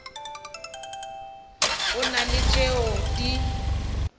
go na le tšeo di